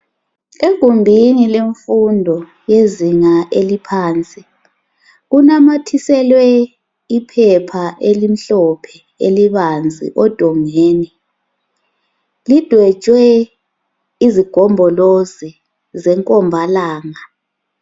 egumbini lemfundo yezinga eliphansi kunamathiselwe iphepha elimhlophe elibanzi odongweni lidwetshwe izigombolozi zengomabalanga